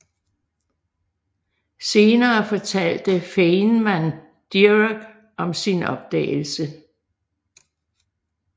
Senere fortalte Feynman Dirac om sin opdagelse